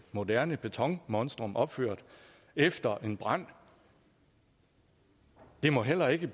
moderne betonmonstrum opført efter en brand det må heller ikke